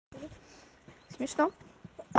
смешно